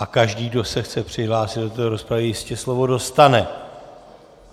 A každý, kdo se chce přihlásit do této rozpravy, jistě slovo dostane.